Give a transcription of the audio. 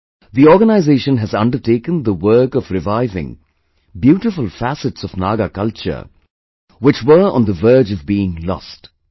' The organization has undertaken the work of reviving beautiful facets of Naga culture which were on the verge of being lost